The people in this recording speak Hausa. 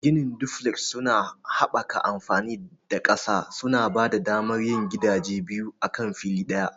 Ginin duflek suna haɓaka amfani da ƙasa, suna ba da damar yin gidaje biyu akan fili ɗaya.